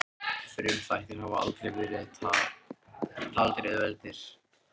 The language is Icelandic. Frumþættir hafa aldrei verið taldir auðveld lesning.